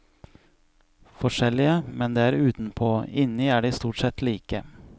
Forskjellige, men det er utenpå, inni er de stort sett like.